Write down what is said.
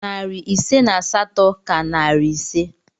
Narị ise na asatọ ka narị ise